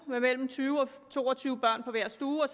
mellem tyve og to og tyve børn på hver stue og